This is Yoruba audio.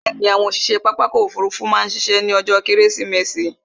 Bẹ̀ẹ̀ni, àwọn òṣiṣe pápá ọkò òfurufú má ṣiṣẹ́ ní ọjó kẹ́rẹ́sìmẹsì